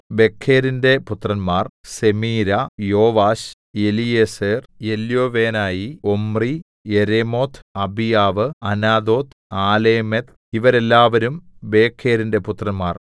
ബെഖെരിന്റെ പുത്രന്മാർ സെമീരാ യോവാശ് എലീയേസർ എല്യോവേനായി ഒമ്രി യെരേമോത്ത് അബീയാവ് അനാഥോത്ത് ആലേമെത്ത് ഇവരെല്ലാവരും ബേഖെരിന്റെ പുത്രന്മാർ